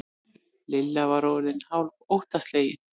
Lilla var orðin hálf óttaslegin.